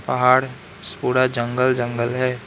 पहाड़ पूरा जंगल जंगल है।